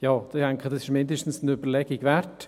Ich denke, dies ist zumindest eine Überlegung wert.